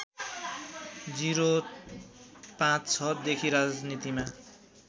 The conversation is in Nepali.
०५६ देखि राजनीतिमा